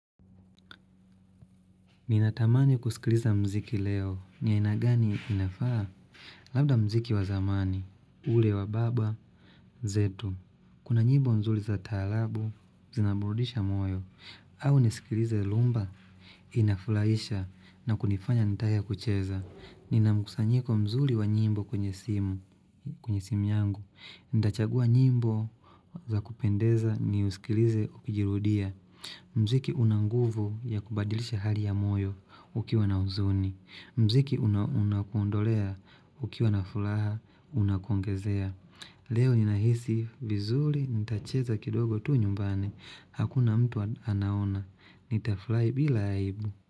Ninatamani kusikiliza muziki leo, ni aina gani inafaa? Labda muziki wa zamani, ule wababa, zetu. Kuna nyimbo nzuri za taharabu, zinaburudisha moyo, au nisikilize rhumba, inafurahisha na kunifanya nitake kucheza. Ninamkusanyiko mzuri wa nyimbo kwenye simu, kwenye simu yangu. Nitachagua nyimbo za kupendeza ni usikilize ukijirudia. Muziki unanguvu ya kubadirisha hali ya moyo ukiwa na huzuni muziki unakundolea ukiwa na furaha unakongezea Leo ninahisi vizuri nitacheza kidogo tu nyumbani Hakuna mtu anaona Nita furahi bila aibu.